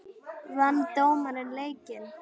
Vann dómarinn leikinn?